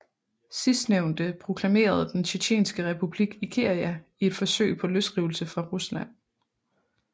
Sidstnævnte proklamerede den Tjetjenske Republik Ichkeria i et forsøg på løsrivelse fra Rusland